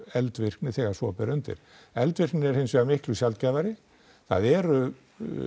eldvirkni þegar svo ber undir eldvirknin er hinsvegar miklu sjaldgæfari það eru